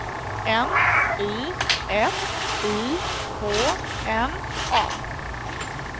N Y F I K N A